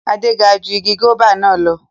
Ade ga ju igi guaba na lọ